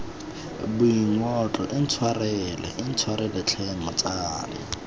boingotlo intshwarele intshwarele tlhe motsadi